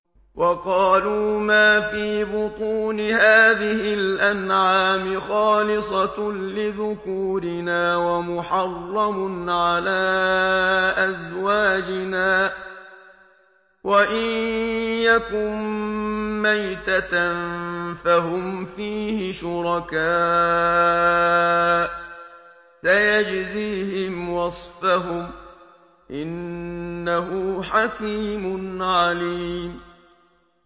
وَقَالُوا مَا فِي بُطُونِ هَٰذِهِ الْأَنْعَامِ خَالِصَةٌ لِّذُكُورِنَا وَمُحَرَّمٌ عَلَىٰ أَزْوَاجِنَا ۖ وَإِن يَكُن مَّيْتَةً فَهُمْ فِيهِ شُرَكَاءُ ۚ سَيَجْزِيهِمْ وَصْفَهُمْ ۚ إِنَّهُ حَكِيمٌ عَلِيمٌ